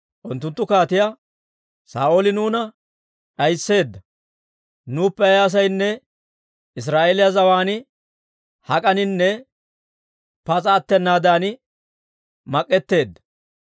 Unttunttu kaatiyaa, «Saa'ooli nuuna d'aysseedda; nuuppe ay asaynne Israa'eeliyaa zawaan hak'aninne pas'a attenaadan mak'etteedda.